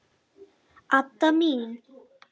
Adda mín!